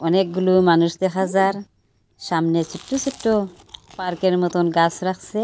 অনেকগুলো মানুষ দেখা যার সামনে ছোট্ট ছোট্ট পার্কের মতন গাছ রাখছে।